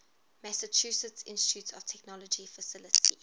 massachusetts institute of technology faculty